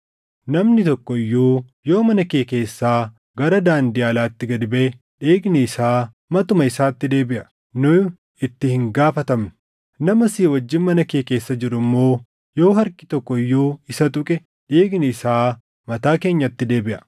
Namni tokko iyyuu yoo mana kee keessaa gara daandii alaatti gad baʼe, dhiigni isaa matuma isaatti deebiʼa; nu itti hin gaafatamnu. Nama si wajjin mana kee keessa jiru immoo yoo harki tokko iyyuu isa tuqe, dhiigni isaa mataa keenyatti deebiʼa.